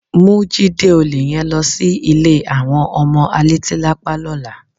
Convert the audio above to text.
Mú Jídé olè yẹn lọ sí ilé àwọn ọmọ alétílápá lọ́la.